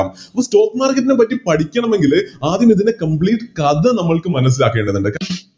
ഈ Stock market നെ പറ്റി പഠിക്കണമെങ്കില് ആദ്യം ഇതിൻറെ Complete കഥ നമ്മൾക്ക് മനസ്സിലാക്കേണ്ടതുണ്ട്